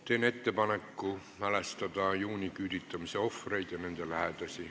Teen ettepaneku mälestada juuniküüditamise ohvreid leinaseisakuga.